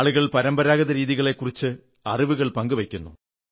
ആളുകൾ പരമ്പരാഗത രീതികളെക്കുറിച്ചുള്ള അറിവുകൾ പങ്കു വയ്ക്കുന്നു